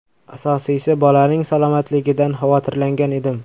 Asosiysi, bolaning salomatligidan xavotirlangan edim.